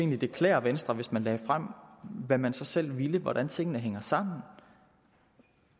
ville klæde venstre hvis man lagde frem hvad man så selv ville hvordan tingene hang sammen